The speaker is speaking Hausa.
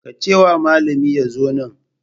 Ka ce wa malami ya zo nan.